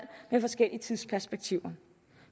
med forskellige tidsperspektiver